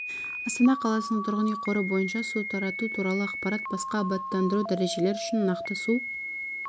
астана қаласының тұрғын үй қоры бойынша су тарату туралы ақпарат басқа абаттандыру дәрежелер үшін нақты су